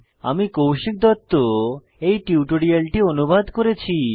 আমি কৌশিক দত্ত এই টিউটোরিয়ালটি অনুবাদ করেছি